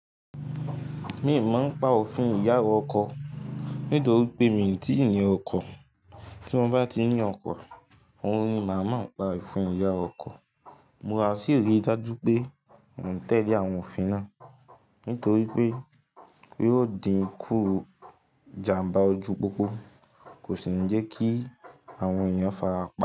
Mi o mọ pa òfin ìyàwó ọkọ nítorí pé mi ò tí ì ní ọkọ. Tí mo bá ti ní ọkọ, òun ni màá mon pa ofi ìyá ọkọ. Mà sí ri dájú pé, mò ń tẹ́lé àwọn òfin náà nítorí pé, yió di kú ìjàmbá ojú pópó kò sì ń jẹ́ kí àwọn èèyàn farapa.